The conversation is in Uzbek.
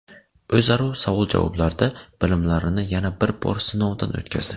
O‘zaro savol-javoblarda bilimlarini yana bir bor sinovdan o‘tkazdi.